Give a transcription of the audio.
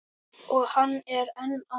Og hann er enn að.